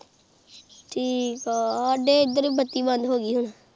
ਠੀਕ ਆ ਸਾਡੇ ਇੱਥੇ ਵੀ ਬੱਤੀ ਬੰਦ ਹੋਗੀ ਹੁਣ